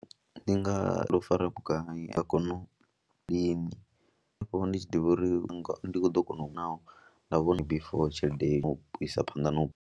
Ndi nga ri o fara vhugai a kone u lini afho ndi tshi ḓivha uri ndi ḓo kona naa, nda vhona before tshelede u isa phanḓa na u.